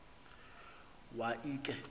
wa l khe